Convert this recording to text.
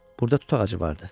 Burda tut ağacı vardı.